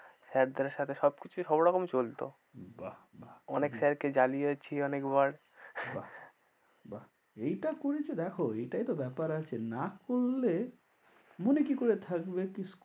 Sir দের সাথে সবকিছু সবরকমই চলতো, বাহ বাহ। অনেক sir কে জ্বালিয়েছি অনেকবার। বাহ বাহ এই টা করেছো দেখ এটাই তো ব্যাপার আছে, না করলে মনে কি করে থাকবে কি,